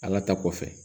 Ala ta kɔfɛ